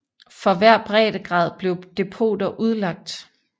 For hver breddegrad blev depoter udlagt